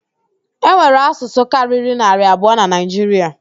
E nwere asụsụ karịrị naarị abụọ na Naịjiria